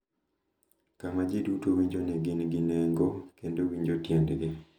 Kama ji duto winjo ni gin gi nengo kendo winjo tiendgi.